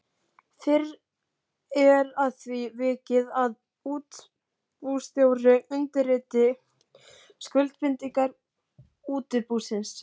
Fyrr er að því vikið að útibússtjóri undirriti skuldbindingar útibúsins.